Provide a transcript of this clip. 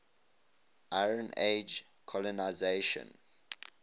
iron age colonisation